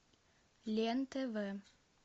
лен тв